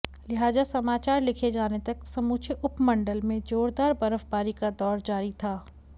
लिहाजा समाचार लिखे जाने तक समूचे उपमंडल में जोरदार बर्फबारी का दौर जारी था